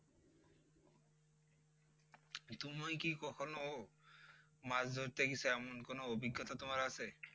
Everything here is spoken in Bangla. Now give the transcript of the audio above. তুমি কি কখনো মাছ ধরতে গেছো এমন কোনো অভিজ্ঞতা তোমার আছে?